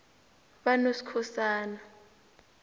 banoskhosana